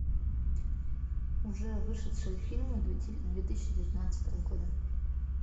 уже вышедшие фильмы две тысячи девятнадцатого года